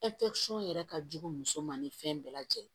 yɛrɛ ka jugu muso ma ni fɛn bɛɛ lajɛlen